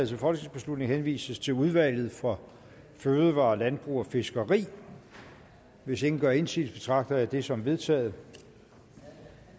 til folketingsbeslutning henvises til udvalget for fødevarer landbrug og fiskeri hvis ingen gør indsigelse betragter jeg det som vedtaget